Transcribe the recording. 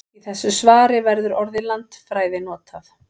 Í þessu svari verður orðið landfræði notað.